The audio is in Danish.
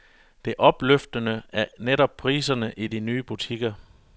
Det opløftende er netop priserne i de nye butikker.